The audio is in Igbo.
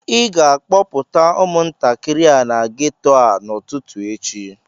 ị ga-akpọpụta umuntakịrị a na geto a n'ụtụtụ echi